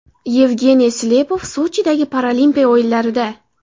Yevgeniy Slepov Sochidagi Paralimpiya o‘yinlarida.